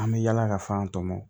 An bɛ yala ka f'an tɔmɔ